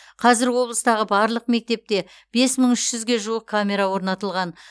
қазір облыстағы барлық мектепте бес мың үш жүзге жуық камера орнатылған